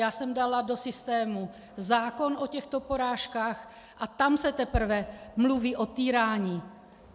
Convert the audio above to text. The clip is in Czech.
Já jsem dala do systému zákon o těchto porážkách a tam se teprve mluví o týrání.